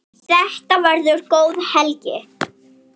Þetta verður góð helgi.